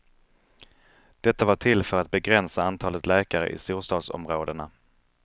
Detta var till för att begränsa antalet läkare i storstadsområdena.